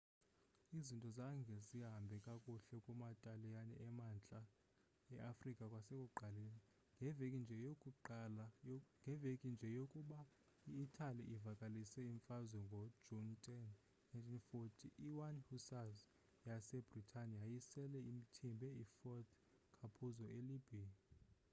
izinto zange zihambe kakuhle kuma taliyane emantla e-afrika kwasekuqaleni ngeveki nje yokuba i-italy ivakalise imfazwe ngo june10 1940 i-1 hussars yase britane yayisele ithimbe i-fort capuzzo e libya